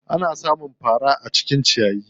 Ana sa mun fara a cikin ciyayi.